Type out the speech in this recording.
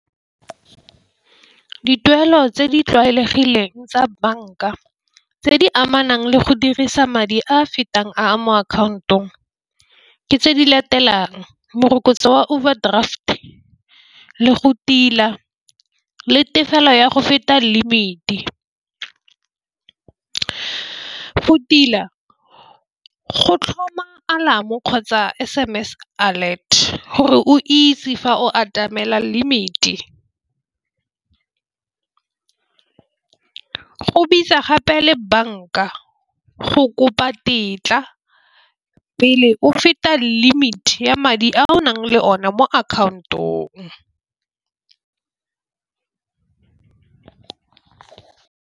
Ke dituelo tse di tlwaelegileng tsa banka tse di amanang le go dirisa madi a a fetang a mo account-ong. Ke tse di latelang morokotso wa overdraft le go tila le tefelo ya go feta limit-e. Go tila go tlhoma alarm-o kgotsa S_M_S alert gore o itse fa o atamela limit-e, go bitsa gape le banka go kopa tetla pele o feta limit ya madi a o nang le one mo account-ong.